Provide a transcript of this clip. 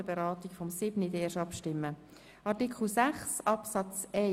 Über Artikel 8 stimmen wir erst nach der Beratung von Artikel 7 ab.